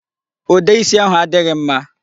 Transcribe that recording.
Ude isi ahụ adịghị mma.